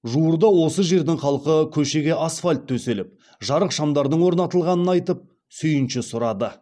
жуырда осы жердің халқы көшеге асфальт төселіп жарық шамдардың орнатылғанын айтып сүйінші сұрады